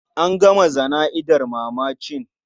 An gama jana'izar mamacin.